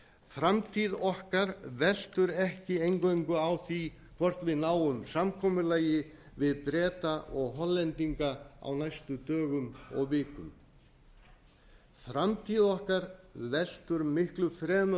framtíð okkar veltur ekki eingöngu á því hvort við náum samkomulagi við breta og hollendinga á næstu dögum og vikum framtíð okkar veltur miklu fremur